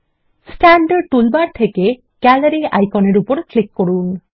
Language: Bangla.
স্ট্যান্ডার্ড টুলবার এ গ্যালারি আইকনের উপর ক্লিক করুন